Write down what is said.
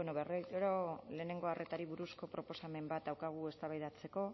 bueno berriro lehenengo arretari buruzko proposamen bat daukagu eztabaidatzeko